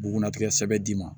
Bugunnatigɛ sɛbɛ d'i ma